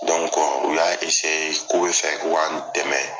u y'a k'o bɛ fɛ ko ka n dɛmɛ.